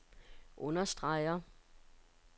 understreger